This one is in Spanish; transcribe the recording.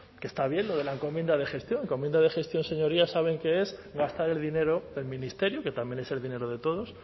que está bien lo de la encomienda de gestión encomienda de gestión señorías saben que es gastar el dinero del ministerio que también es el dinero de todos